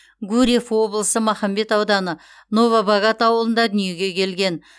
гурьев облысы махамбет ауданы новобогат ауылында дүниеге келген